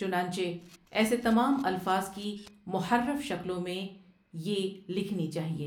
چنانچہ ایسے تمام الفاظ کی مُحرّف شکلوں میں ے لکھنی چاہیے۔